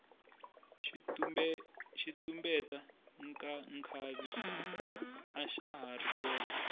xitumbeta nkhavi axa hari kona